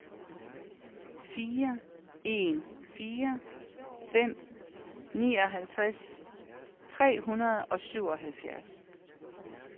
fire en fire fem nioghalvtreds tre hundrede og syvoghalvfjerds